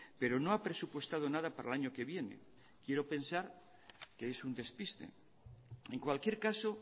pero no ha presupuestado nada para el año que viene quiero pensar que es un despiste en cualquier caso